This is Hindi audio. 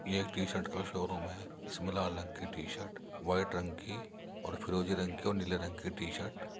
ये एक टी-शर्ट का शोरूम है इसमें लाल रंग की टी-शर्ट व्हाइट रंग की और फिरोजी रंग की और नीले रंग की टी-शर्ट --